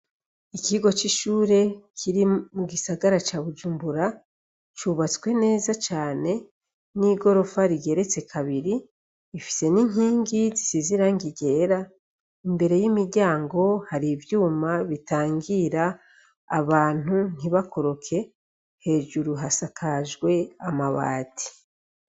Ikigo c'ishure kiri mu gisagara ca bujumbura cubatswe neza cane n'igorofa rigeretse kabiri ifise n'inkingi zisize irangi ryera, imbere y'imiryango hari ivyuma bitangira abantu ntibakoroke hejuru hasakajwe amabati.